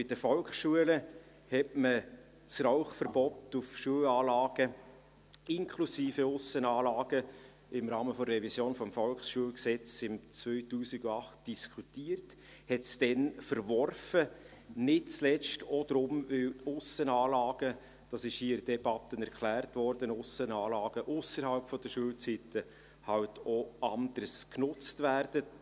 Bei den Volksschulen hatte man im Rahmen der Revision des Volksschulgesetzes (VSG) im Jahr 2008 das Rauchverbot auf Schulanlagen inklusive Aussenanlagen diskutiert, verwarf es dann aber, nicht zuletzt auch deshalb, weil die Aussenanlagen – das wurde hier in der Debatte erklärt – ausserhalb der Schulzeiten eben auch anders genutzt werden.